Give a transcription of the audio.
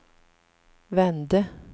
vände